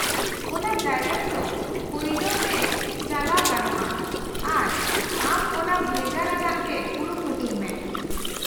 -ᱚᱱᱟ ᱡᱟᱭᱜᱟ ᱨᱮᱫᱚ ᱯᱷᱟᱭᱞᱟᱣ ᱛᱮ ᱪᱟᱞᱟᱣ ᱜᱟᱱᱚᱜᱼᱟ ᱟᱨ ᱟᱢ ᱚᱱᱟ ᱵᱷᱮᱜᱟᱨ ᱟᱱᱟᱜ ᱜᱮ ᱠᱩᱨᱩᱢᱩᱴᱩᱭ ᱢᱮ ᱾